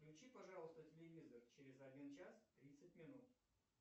включи пожалуйста телевизор через один час тридцать минут